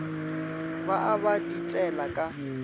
ba a ba ditela ka